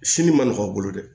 Sini ma nɔgɔn bolo dɛ